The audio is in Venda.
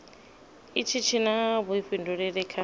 itshi tshi na vhuifhinduleli kha